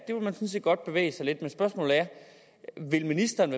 man sådan set godt vil bevæge sig lidt men spørgsmålet er vil ministeren